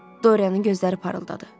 Dorianın gözləri parıldadı.